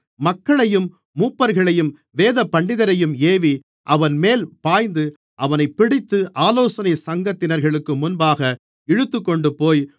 மக்களையும் மூப்பர்களையும் வேதபண்டிதரையும் ஏவி அவன்மேல் பாய்ந்து அவனைப் பிடித்து ஆலோசனைச் சங்கத்தினர்களுக்கு முன்பாக இழுத்துக்கொண்டுபோய்